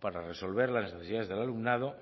para resolver las necesidades del alumnado